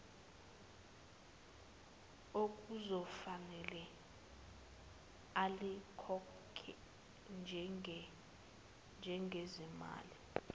okuzofanele alikhokhe njengezimali